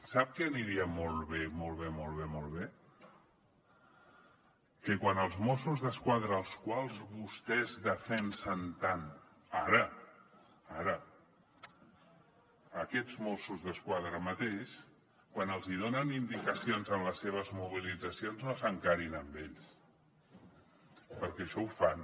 sap què aniria molt bé molt bé molt bé molt bé que quan els mossos d’esquadra als quals vostès defensen tant ara ara aquests mossos d’esquadra mateix quan els donen indicacions en les seves mobilitzacions no s’encarin amb ells perquè això ho fan